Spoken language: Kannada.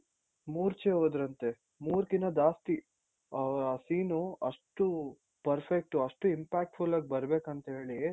ಮೂರ್ಛೆ ಹೊದ್ರಂತೆ ಮೂರ್ ಕಿನ್ನ ಜಾಸ್ತಿ ಆ scene ಅಷ್ಟು perfect ಅಷ್ಟು impactful ಆಗ್ ಬರ್ಬೆಕು ಅಂತೇಳಿ